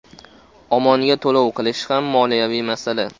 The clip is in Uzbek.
OMONga to‘lov qilish ham moliyaviy masala.